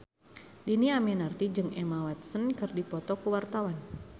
Dhini Aminarti jeung Emma Watson keur dipoto ku wartawan